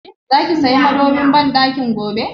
Za ki saya sabon madobin banɗakin gobe?